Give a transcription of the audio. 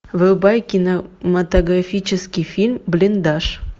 врубай кинематографический фильм блиндаж